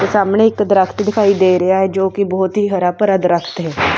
ਸਾਹਮਣੇ ਇੱਕ ਦਰਖਤ ਦਿਖਾਈ ਦੇ ਰਿਹਾ ਹੈ ਜੋ ਕਿ ਬਹੁਤ ਹੀ ਹਰਾ ਭਰਾ ਦਰਖਤ ਹੈ।